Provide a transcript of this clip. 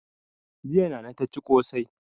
Jiya nana ta ci ƙosai